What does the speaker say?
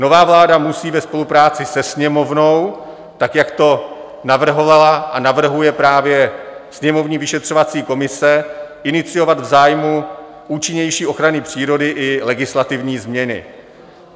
Nová vláda musí ve spolupráci se Sněmovnou tak, jak to navrhovala a navrhuje právě sněmovní vyšetřovací komise, iniciovat v zájmu účinnější ochrany přírody i legislativní změny.